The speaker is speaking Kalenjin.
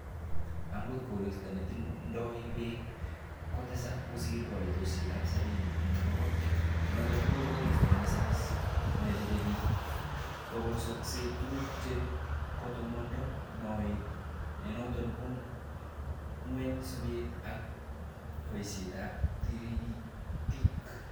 Angot koristo netindoi beek kotesak kosir koitosiek ab sabini en bogol noton ko koristo nesamis nechechebik, kobosokse tuguk che kotomondo moet, nenoton kondo ngweny sobet ak boisietab taritik.